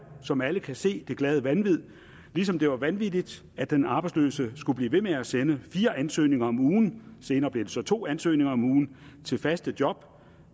som alle kan se det glade vanvid ligesom det var vanvittigt at den arbejdsløse skulle blive ved med at sende fire ansøgninger om ugen senere blev det så til to ansøgninger om ugen til faste job